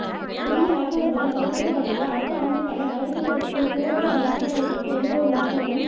புதிய அரசாங்கத்தினால் சமர்பிக்கப்பட்டுள்ள அடுத்த ஆண்டிற்கான வரவு செலவுத் திட்டத்தில் போரினால் பாதிக்கப்பட்டவர்களுக்கு எந்தவொரு விமர்சனமும்